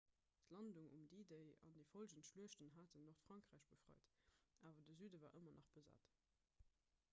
d'landung um d-day an déi follgend schluechten haten nordfrankräich befreit awer de süde war ëmmer nach besat